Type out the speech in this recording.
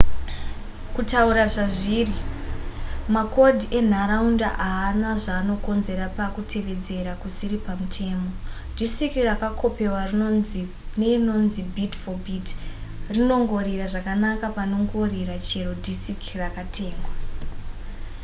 kutaura zvazviri makodhi enharaunda haana zvanokonzera pakutevedzera kusiri pamutemo disiki rakakopewa neinonzi bit-for-bit rinongorira zvakanaka panongorira chero dhisiki rakatengwa